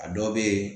A dɔw bɛ yen